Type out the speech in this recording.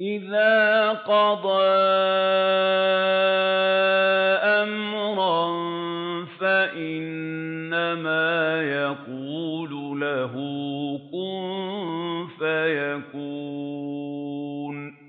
إِذَا قَضَىٰ أَمْرًا فَإِنَّمَا يَقُولُ لَهُ كُن فَيَكُونُ